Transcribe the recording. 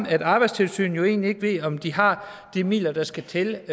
at arbejdstilsynet egentlig ikke ved om de har de midler der skal til